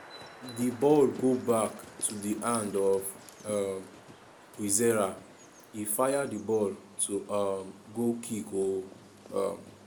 di ball go back to di hand of um kwizera e fire di ball to um goalkick oooo. um